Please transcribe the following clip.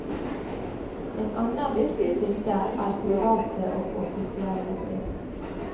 En annen viktig kilde er private og offisielle brev.